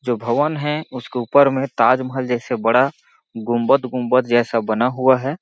जो भवन है उसके ऊपर मे ताज-महल जैसे बड़ा गुम्बदगुम्बद जैसा बना हुआ हैं।